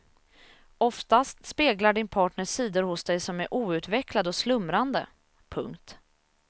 Oftast speglar din partner sidor hos dig som är outvecklade och slumrande. punkt